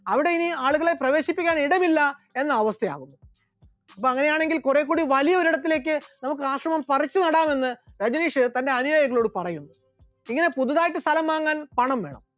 അവിടെ ഇനി ആളുകളെ പ്രവേശിപ്പിക്കാൻ ഇടമില്ല എന്ന അവസ്ഥയാണ്, അപ്പോൾ അങ്ങനെയാണെങ്കിൽ കുറേകൂടി വലിയൊരിടത്തേക്ക് നമുക്ക് ആശ്രമം പറിച്ചുനടാമെന്ന് രജനീഷ് തന്റെ അനുയായികളോട് പറയുന്നു, ഇങ്ങനെ പുതുതായിട്ട് സ്ഥലം വാങ്ങാൻ പണം വേണം.